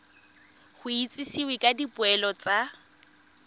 go itsisiwe ka dipoelo tsa